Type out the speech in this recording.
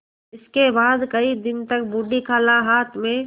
इसके बाद कई दिन तक बूढ़ी खाला हाथ में